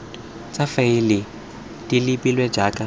tsa faele di lebilwe jaaka